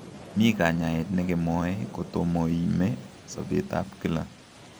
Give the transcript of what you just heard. Momii kanyaet nekemoe kotomoime sobeet ab kila